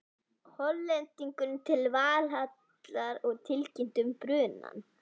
Hollendingurinn til Valhallar og tilkynnti um brunann.